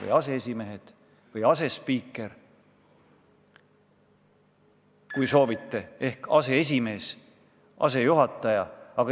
Ja asespiikri asemel, kui soovite, on aseesimees, asejuhataja.